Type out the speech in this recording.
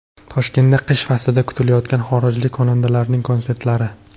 Toshkentda qish faslida kutilayotgan xorijlik xonandalarning konsertlari.